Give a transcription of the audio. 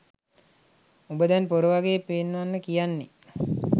උඹ දැන් පොර වගේ පෙන්වන්න කියන්නේ